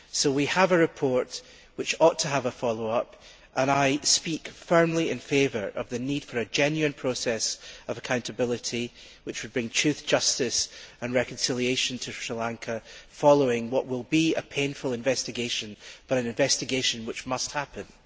We have a report which ought to have a follow up, and I speak firmly in favour of the need for a genuine process of accountability which would bring truth, justice and reconciliation to Sri Lanka following what will be a painful investigation, but an investigation which must happen.